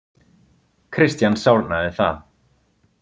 Christian sárnaði það.